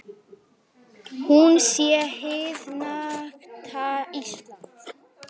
Hún sé hið nakta Ísland.